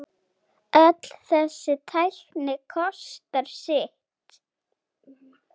Ég man eftir öðru atviki.